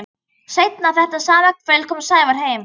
Seinna þetta sama kvöld kom Sævar heim.